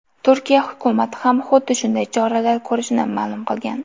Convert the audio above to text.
Turkiya hukumati ham xuddi shunday choralar ko‘rishini ma’lum qilgan .